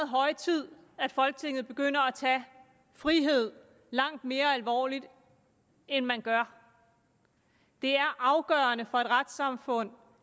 høje tid at folketinget begynder at tage frihed langt mere alvorligt end man gør det er afgørende for et retssamfund